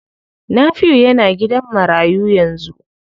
Nafiu yana gidan marayu yanzu.